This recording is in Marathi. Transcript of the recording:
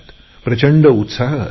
प्रचंड उत्साह असतो